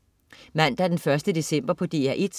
Mandag den 1. december - DR1: